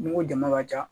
N'i ko jama ka ca